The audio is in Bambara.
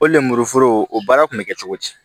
O lemuru foro o baara kun bɛ kɛ cogo di